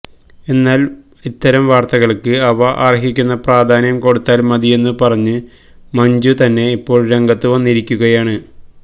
എന്നാല് ഇത്തരം വാര്ത്തകള്ക്ക് അവ അര്ഹിക്കുന്ന പ്രാധാന്യം കൊടുത്താല് മതിയെന്നു പറഞ്ഞ് മഞ്ജു തന്നെ ഇപ്പോള് രംഗത്തു വന്നിരിക്കുകയാണ്